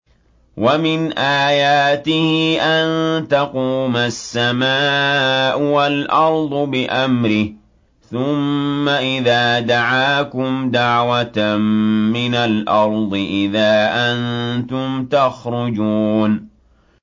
وَمِنْ آيَاتِهِ أَن تَقُومَ السَّمَاءُ وَالْأَرْضُ بِأَمْرِهِ ۚ ثُمَّ إِذَا دَعَاكُمْ دَعْوَةً مِّنَ الْأَرْضِ إِذَا أَنتُمْ تَخْرُجُونَ